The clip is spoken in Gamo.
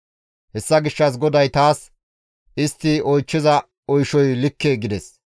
Hessa gishshas GODAY taas, «Istti oychchiza oyshay likke» gides.